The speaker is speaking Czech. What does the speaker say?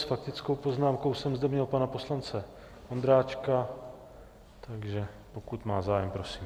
S faktickou poznámkou jsem zde měl pana poslance Ondráčka, takže pokud má zájem, prosím.